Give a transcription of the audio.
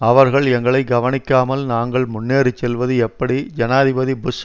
அவர்கள் எங்களை கவனிக்காமல் நாங்கள் முன்னேறி செல்வது எப்படி ஜனாதிபதி புஷ்